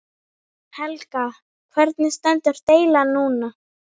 Helga: Hvernig stendur deilan núna?